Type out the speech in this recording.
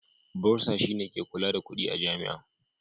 Bursar shine ke kula da kudi a Jami'a.